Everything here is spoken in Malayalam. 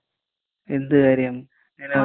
എന്ത് കാര്യം? ഞാനറിഞ്ഞില്ലല്ലോ.